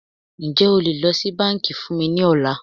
Ǹjẹ́ o lè lọ sí bánkì fún mí ní ọ̀la?